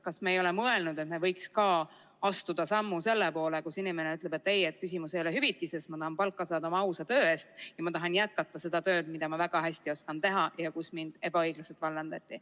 Kas me ei ole mõelnud, et me võiks ka astuda sammu selle poole, et inimene ütleb, et ei, küsimus ei ole hüvitises, ma tahan saada palka oma ausa töö eest ja ma tahan jätkata seda tööd, mida ma väga hästi oskan ja töökohal, kust mind ebaõiglaselt vallandati.